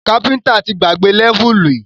Káfíntà ti gbàgbé lẹ́vùlì